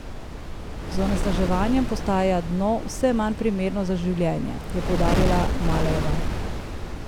Z onesnaževanjem postaja dno vse manj primerno za življenje, je poudarila Malejeva.